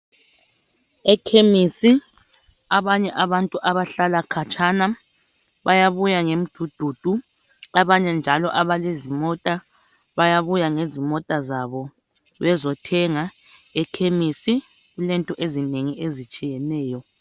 Ekhemisi abanye abantu abahlala khatshana bayabuya ngemdududu, abanye njalo abalezimota bayabuyangezimota zabo bezothenga ekhemisi. Kulento ezinengi ezitshiyeneyo.